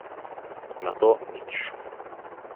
Nato, nič.